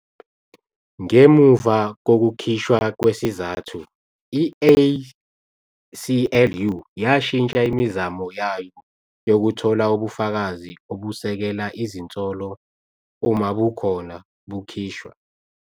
Ngemuva kokukhishwa kwesizathu, i-ACLU yashintsha imizamo yayo yokuthola ubufakazi obusekela izinsolo, uma bukhona, bukhishwa.